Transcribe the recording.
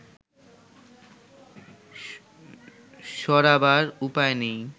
সরাবার উপায় নেই